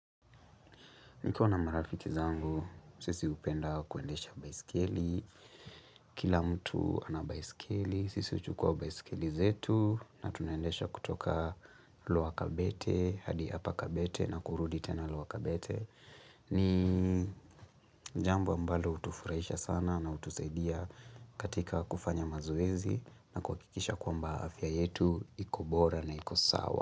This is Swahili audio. Nikona marafiki zangu, sisi hupenda kuendesha baiskeli, kila mtu anabaiskeli, sisi huchukua baiskeli zetu na tunaendesha kutoka lower kabete, hadi upper kabete na kurudi tena lower kabete. Ni jambo ambalo hutufurahisha sana na hutusaidia katika kufanya mazoezi na kuhakikisha kwamba afya yetu ikobora na ikosawa.